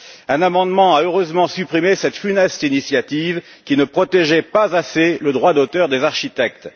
Un amendement a heureusement supprimé cette funeste initiative qui ne protégeait pas assez le droit d'auteur des architectes.